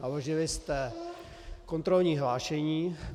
Naložili jste kontrolní hlášení.